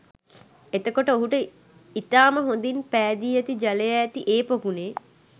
එතකොට ඔහුට ඉතාම හොඳින් පෑදී ඇති ජලය ඇති ඒ පොකුණේ